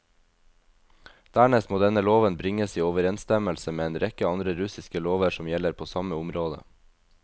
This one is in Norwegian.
Dernest må denne loven bringes i overensstemmelse med en rekke andre russiske lover som gjelder på samme området.